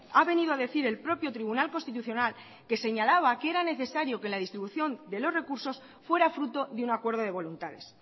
ha venido a decir el propio tribunal constitucional que señalaba que era necesario que la distribución de los recursos fuera fruto de un acuerdo de voluntades